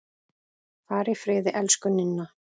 Far í friði, elsku Ninna.